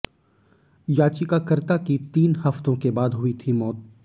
याचिकाकर्ता की तीन हफ्तों के बाद हुई थी मौत